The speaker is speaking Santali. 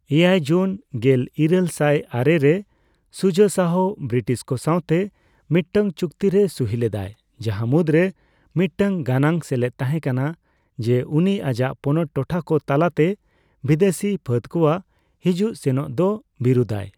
ᱮᱭᱟᱭ ᱡᱩᱱ ᱜᱮᱞᱤᱨᱟᱹᱞᱥᱟᱭ ᱟᱨᱮ ᱨᱮ ᱥᱩᱡᱟ ᱥᱟᱦᱚ ᱵᱨᱤᱴᱤᱥᱠᱚ ᱥᱟᱣᱛᱮ ᱢᱤᱫᱴᱟᱝ ᱪᱩᱠᱛᱤᱨᱮᱭ ᱥᱩᱦᱤ ᱞᱮᱫᱟᱭ, ᱡᱟᱦᱟᱸ ᱢᱩᱫᱽᱨᱮ ᱢᱤᱫᱴᱟᱝ ᱜᱟᱱᱟᱝ ᱥᱮᱞᱮᱫ ᱛᱟᱦᱮᱸᱠᱟᱱᱟ ᱡᱮ ᱩᱱᱤ ᱟᱡᱟᱜ ᱯᱚᱱᱚᱛ ᱴᱚᱴᱷᱟᱠᱚ ᱛᱟᱞᱟᱛᱮ ᱵᱤᱫᱮᱥᱤ ᱯᱷᱟᱹᱫ ᱠᱚᱣᱟᱜ ᱦᱤᱡᱩᱜ ᱥᱮᱱᱚᱜᱫᱚ ᱵᱤᱨᱩᱫᱟᱭ ᱾